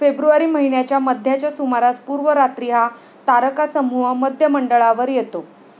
February महिन्याच्या मध्याच्या सुमारास पूर्व रात्री हा तारकासमूह मध्यमंडळावर येतो.